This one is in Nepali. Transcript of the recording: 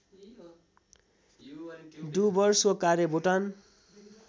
डुवर्सको कार्य भुटान